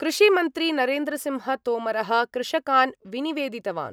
कृषिमन्त्री नरेन्द्रसिंहतोमरः कृषकान् विनिवेदितवान्।